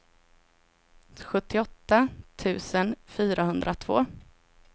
sjuttioåtta tusen fyrahundratvå